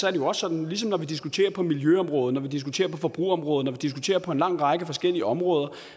er det også sådan ligesom når vi diskuterer på miljøområdet når vi diskuterer på forbrugerområdet når vi diskuterer på en lang række forskellige områder at